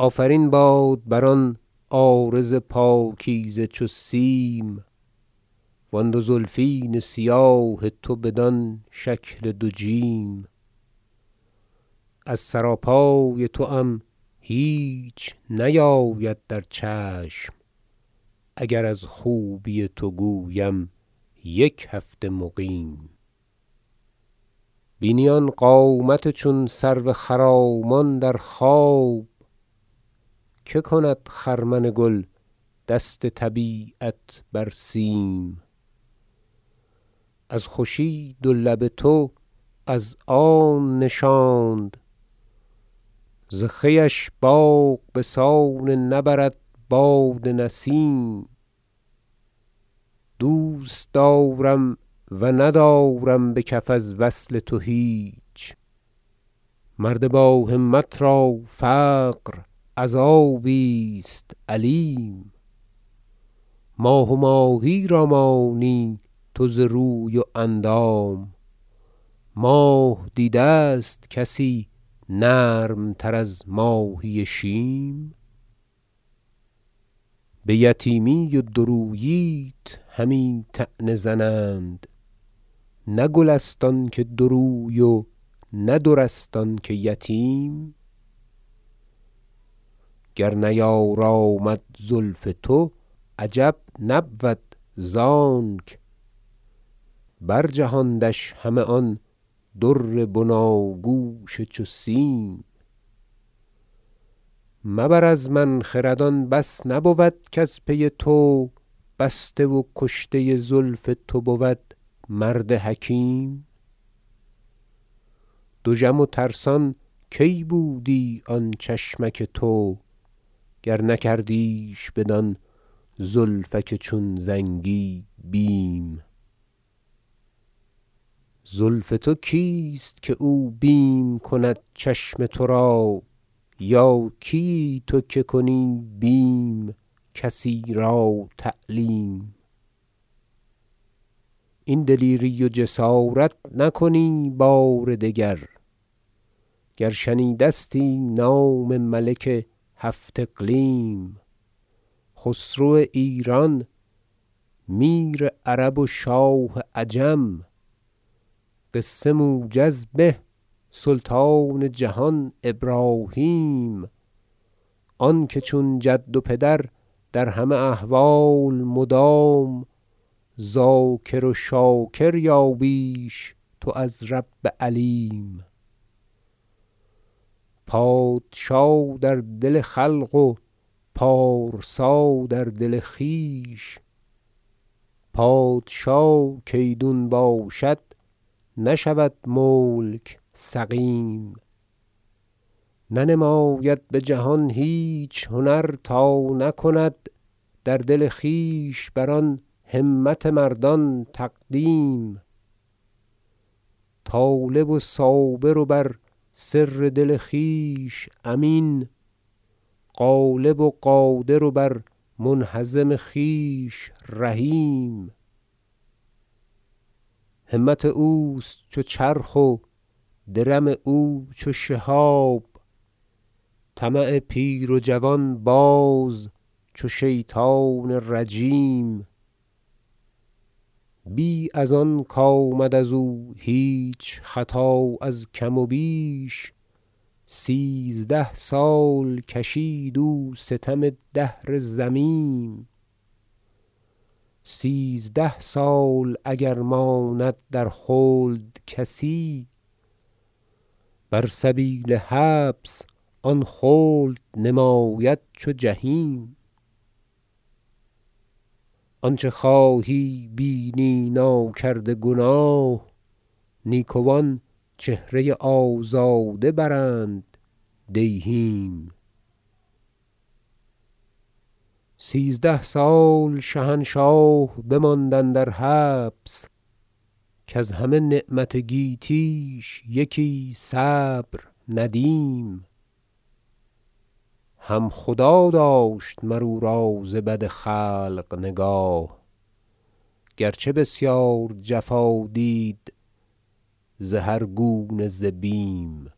ایضا له آفرین باد بر آن عارض پاکیزه چو سیم و آن دو زلفین سیاه تو بدان شکل دو جیم از سرا پای توام هیچ نیاید در چشم اگر از خوبی تو گویم یک هفته مقیم بینی آن قامت چون سرو خرامان در خواب که کند خرمن گل دست طبیعت بر سیم از خوشی دو لب تو از آن نشاند ز خویش باغ بسان نبرد باد نسیم دوستدارم و ندارم بکف از وصل تو هیچ مرد با همت را فقر عذابی است الیم ماه و ماهی را مانی تو ز روی و اندام ماه دیده است کسی نرم تر از ماهی شیم بیتیمی و دو روییت همی طعنه زنند نه گل است آنکه دو روی و نه در است آنکه یتیم گر نیارامد زلف تو عجب نبود زانک بر جهاندش همه آن در بناگوش چو سیم مبر از من خرد آن بس نبود کز پی تو بسته و کشته زلف تو بود مرد حکیم دژم و ترسان کی بودی آن چشمک تو گر نکردیش بدان زلفک چون زنگی بیم زلف تو کیست که او بیم کند چشم ترا یا کیی تو که کنی بیم کسی را تعلیم این دلیری و جسارت نکنی بار دگر گر شنیدستی نام ملک هفت اقلیم خسرو ایران میر عرب و شاه عجم قصه موجز به سلطان جهان ابراهیم آنکه چون جد و پدر در همه احوال مدام ذاکر و شاکر یا بیش تو از رب علیم پادشا در دل خلق و پارسا در دل خویش پادشا کایدون باشد نشود ملک سقیم ننماید بجهان هیچ هنر تا نکند در دل خویش بر آن همت مردان تقدیم طالب و صابر و بر سر دل خویش امین غالب و قادر و بر منهزم خویش رحیم همت اوست چو چرخ و درم او چو شهاب طمع پیر و جوان باز چو شیطان رجیم بی از آن کامد ازو هیچ خطا از کم و بیش سیزده سال کشید او ستم دهر ذمیم سیزده سال اگر ماند در خلد کسی بر سبیل حبس آن خلد نماید چو جحیم آنچه خواهی بینی ناکرده گناه نیکوان چهره آزاده برند دیهیم سیزده سال شهنشاه بماند اندر حبس کز همه نعمت گیتیش یکی صبر ندیم هم خدا داشت مر او را ز بد خلق نگاه گرچه بسیار جفا دید ز هر گونه ز بیم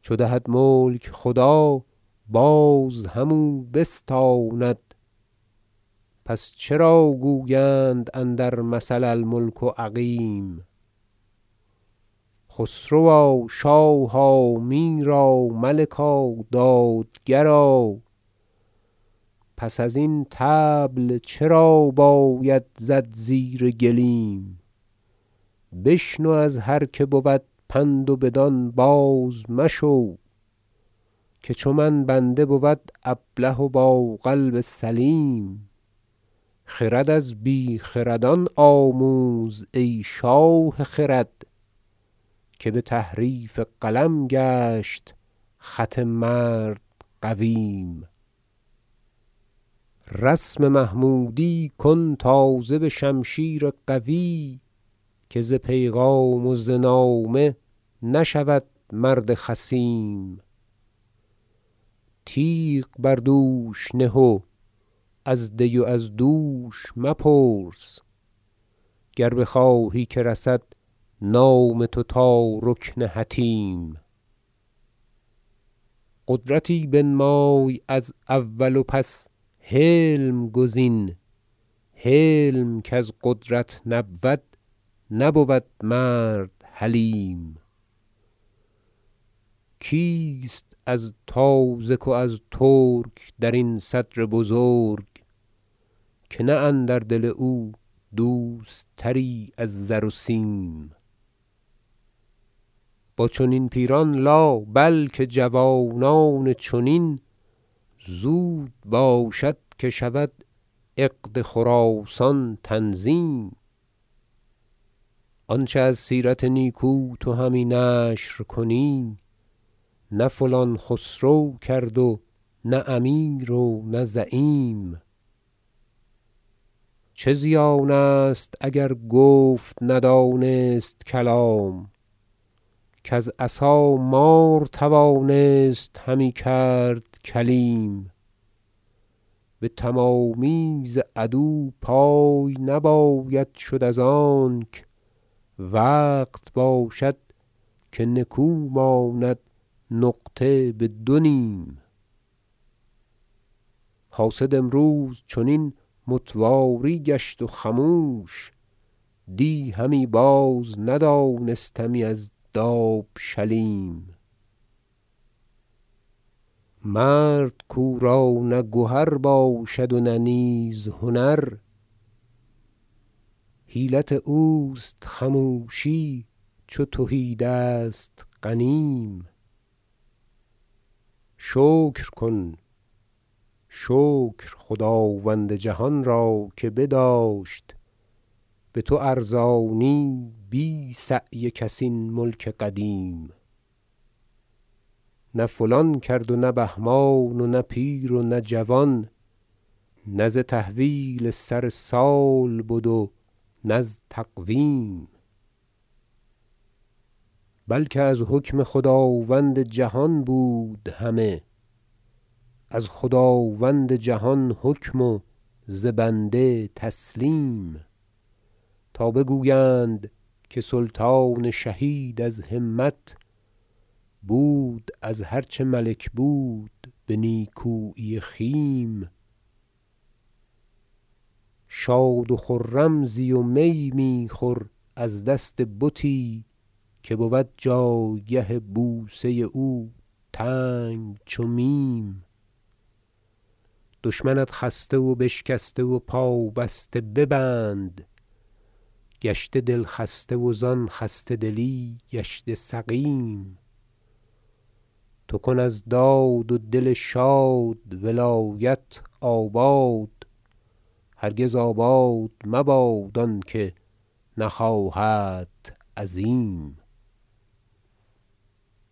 چو دهد ملک خدا باز همو بستاند پس چرا گویند اندر مثل الملک عقیم خسروا شاها میرا ملکا دادگرا پس ازین طبل چرا باید زد زیر گلیم بشنو از هر که بود پند و بدان باز مشو که چو من بنده بود ابله و با قلب سلیم خرد از بیخردان آموز ای شاه خرد که بتحریف قلم گشت خط مرد قویم رسم محمودی کن تازه بشمشیر قوی که ز پیغام و ز نامه نشود مرد خصیم تیغ بر دوش نه و از دی و از دوش مپرس گر بخواهی که رسد نام تو تا رکن حطیم قدرتی بنمای از اول و پس حلم گزین حلم کز قدرت نبود نبود مرد حلیم کیست از تازک و از ترک درین صدر بزرگ که نه اندر دل او دوست تری از زر و سیم با چنین پیران لا بل که جوانان چنین زود باشد که شود عقد خراسان تنظیم آنچه از سیرت نیکو تو همی نشر کنی نه فلان خسرو کرد و نه امیر و نه زعیم چه زیانست اگر گفت ندانست کلام کز عصا مار توانست همی کرد کلیم بتمامی ز عدو پای نباید شد از آنک وقت باشد که نکو ماند نقطه بدو نیم حاسد امروز چنین متواری گشت و خموش دی همی بازندانستمی از دابشلیم مرد کو را نه گهر باشد و نه نیز هنر حیلت اوست خموشی چو تهی دست غنیم شکر کن شکر خداوند جهان را که بداشت بتو ارزانی بی سعی کس این ملک قدیم نه فلان کرد و نه بهمان و نه پیر و نه جوان نه ز تحویل سر سال بدو نز تقویم بلکه از حکم خداوند جهان بود همه از خداوند جهان حکم و ز بنده تسلیم تا بگویند که سلطان شهید از همت بود از هر چه ملک بود به نیکویی خیم شاد و خرم زی و می میخور از دست بتی که بود جایگه بوسه او تنگ چو میم دشمنت خسته و بشکسته و پا بسته ببند گشته دلخسته وزان خسته دلی گشته سقیم تو کن از داد و دل شاد ولایت آباد هرگز آباد مباد آنکه نخواهدت عظیم